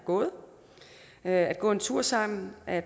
gået at gå en tur sammen at